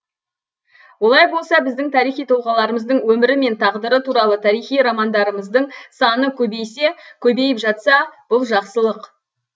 олай болса біздің тарихи тұлғаларымыздың өмірі мен тағдыры туралы тарихи романдарымыздың саны көбейсе көбейіп жатса бұл жақсылық